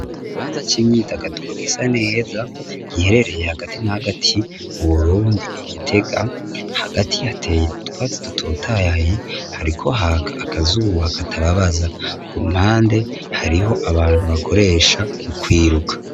Igibanza c'imyidagaduro gisa neza giherereye hagati n'agati mu burundi igitega hagati hateye utwatsi dutotaye hariko haka akazuba katababaza ku mpande hariho abantu bakoresha ukwiruka.